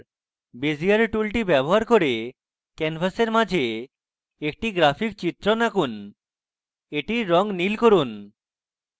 bezier টুলটি ব্যবহার করে ক্যানভাসের মাঝে একটি graphic চিত্রণ আঁকুন এটির রঙ নীল করুন